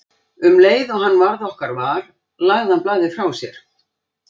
Um leið og hann varð okkar var lagði hann blaðið frá sér.